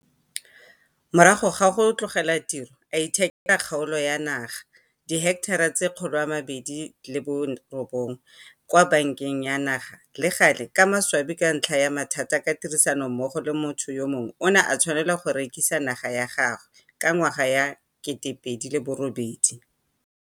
Morago ga go tlogela tiro a ithekela kgaolo ya naga, diheketara tse 209, kwa Banka ya Naga - le gale ka maswabi ka ntlha ya mathata ka tirisanommogo le motho yo mongwe o ne a tshwanelwa go rekisa naga ya gagwe ka 2008.